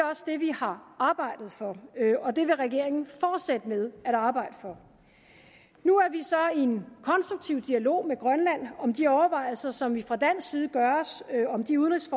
har arbejdet for og det vil regeringen fortsætte med at arbejde for nu er vi så i en konstruktiv dialog med grønland om de overvejelser som vi fra dansk side gør os om de udenrigs